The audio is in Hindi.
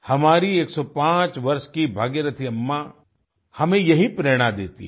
हमारी 105 वर्ष की भागीरथी अम्मा हमें यही प्रेरणा देती है